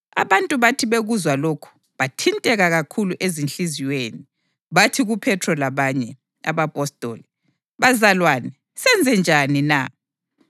Abantu bathi bekuzwa lokhu bathinteka kakhulu ezinhliziyweni, bathi kuPhethro labanye abapostoli, “Bazalwane, senze njani na?”